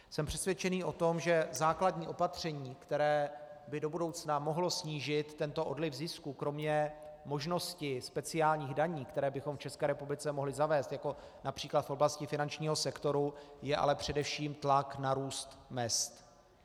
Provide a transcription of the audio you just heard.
Jsem přesvědčený o tom, že základní opatření, které by do budoucna mohlo snížit tento odliv zisků kromě možnosti speciálních daní, které bychom v České republice mohli zavést, jako například v oblasti finančního sektoru, je ale především tlak na růst mezd.